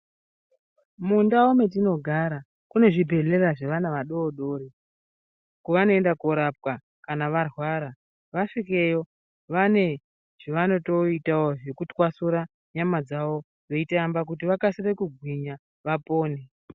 Mundau metinogara, kunezvibhedhlera zvevana vadodori, kwavanoyenda korapwa kana varwara. Vaswikeyo, vane zvavanotoyiteyo zvekuti kwaswura nyama dzawo veyitamba kuti vakasire kugwinya vapone.